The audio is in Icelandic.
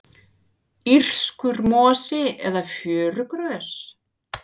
írskur mosi eða fjörugrös